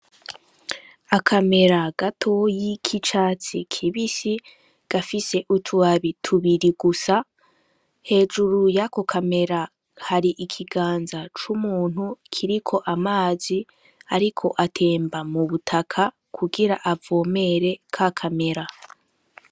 Akamera gatoyi k'icatsi kibisi, gafise utubabi tubiri gusa. Hejuru y'ako kamera hari ikiganza c'umuntu kiriko amazi ariko atemba mu butaka kugira avomere ka kamera.